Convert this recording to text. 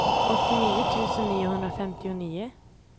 åttionio tusen niohundrafemtionio